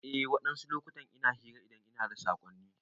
Eh wadansu lokutan ina hira idan ina da sakonni.